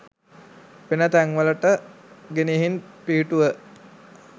වෙන තැන්වලට ගෙනිහින් පිහිටුව